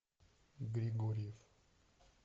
григорьев